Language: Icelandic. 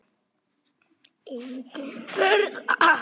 Engin furða.